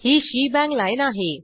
ही shebang line आहे